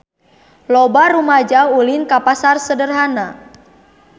Loba rumaja ulin ka Pasar Sederhana